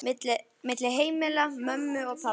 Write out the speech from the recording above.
milli heimila mömmu og pabba.